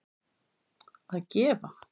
að gefa